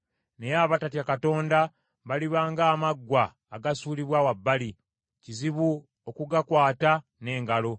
Naye abatatya Katonda baliba nga amaggwa agasuulibwa wa bbali, kizibu okugakwata n’engalo.